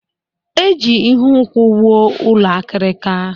E ji ihu nkwụ wụọ ụlọ akirika.